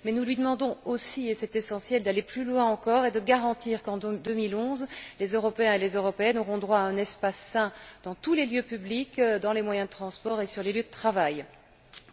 Cependant, nous lui demandons aussi et c'est essentiel d'aller plus loin encore et de garantir qu'en 2011, les Européens et les Européennes auront droit à un espace sain dans tous les lieux publics, dans les moyens de transport et sur les lieux de travail.